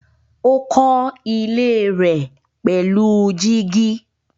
Ó kọ́ ilé rẹ̀ pẹ̀lú gíjí.